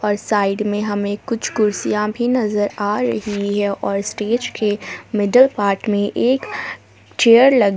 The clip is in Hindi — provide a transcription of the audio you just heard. साइड में हमें कुछ कुर्सियां भी नजर आ रही है और स्टेज के मिडल पार्ट में एक चेयर लगी--